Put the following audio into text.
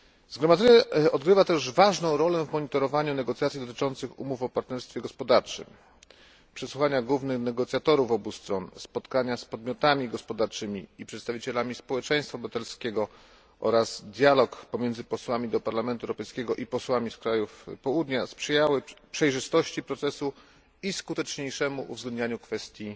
Zgromadzenie odgrywa też ważną rolę w monitorowaniu negocjacji dotyczących umów o partnerstwie gospodarczym. Przesłuchania głównych negocjatorów obu stron, spotkania z podmiotami gospodarczymi i przedstawicielami społeczeństwa obywatelskiego oraz dialog pomiędzy posłami do Parlamentu Europejskiego i posłami z krajów Południa sprzyjały przejrzystości procesu i skuteczniejszemu uwzględnianiu kwestii